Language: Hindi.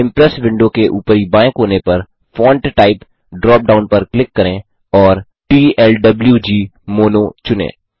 इम्प्रेस विंडो के ऊपरी बाएँ कोने पर फोंट टाइप ड्रॉप डाउन पर क्लिक करें और टीएलडब्लूगमोनो चुनें